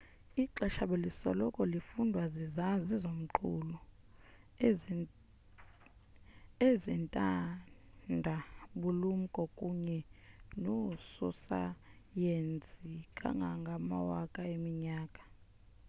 ixesha belisoloko lifundwa zizazi zonqulu ezentanda bulumko kunye noososayensi kangangamawaka eminyaka